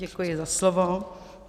Děkuji za slovo.